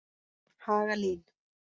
Hagalín